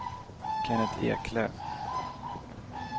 Kennet Eklöf